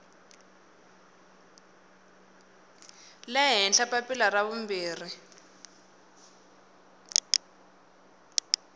le henhla papila ra vumbirhi